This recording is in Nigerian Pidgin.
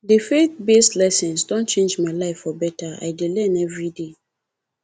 the faithbased lessons don change my life for better i dey learn daily